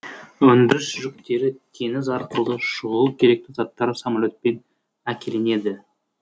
өндіріс жүктері теңіз арқылы шұғыл керекті заттар самоле тпен әкелінеді